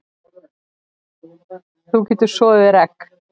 Þú getur soðið þér egg